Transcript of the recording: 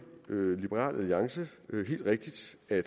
liberal alliance helt rigtigt at i